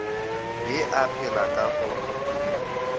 be a phela ka go